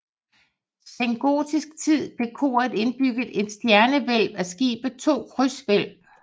I sengotisk tid fik koret indbygget et stjernehvælv og skibet to krydshvælv